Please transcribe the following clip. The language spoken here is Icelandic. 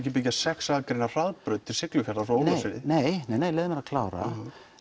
byggja sex akreina hraðbraut til Siglufjarðar frá Ólafsfirði nei nei nei leyfðu mér að klára